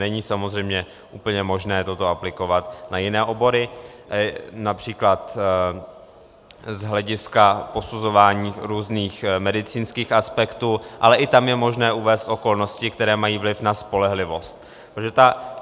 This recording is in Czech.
Není samozřejmě úplně možné toto aplikovat na jiné obory, například z hlediska posuzování různých medicínských aspektů, ale i tam je možné uvést okolnosti, které mají vliv na spolehlivost.